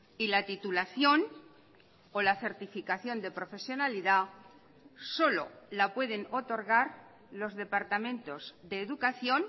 y la titulación o la certificación de profesionalidad solo la pueden otorgar los departamentos de educación